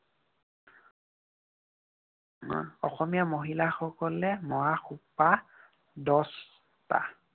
অসমীয়া মহিলাসকলে মৰা খোপা দহটা।